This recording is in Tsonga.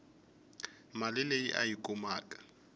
mali leyi a yi kumaku